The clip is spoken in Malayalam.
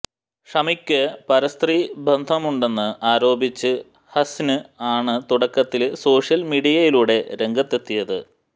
ഷമിക്ക് പരസ്ത്രീ ബന്ധമുണ്ടെന്ന് ആരോപിച്ച് ഹസിന് ആണ് തുടക്കത്തില് സോഷ്യല് മീഡിയയിലൂടെ രംഗത്തെത്തിയത്